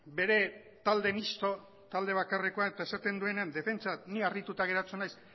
bere talde misto talde bakarrekoa eta esaten duenean defentsa ni harrituta geratzen naiz